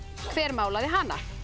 hver málaði hana